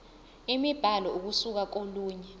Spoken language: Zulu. imibhalo ukusuka kolunye